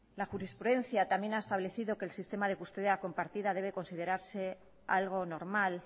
la jurisprudencia también ha establecido que el sistema de custodia compartida debe considerarse algo normal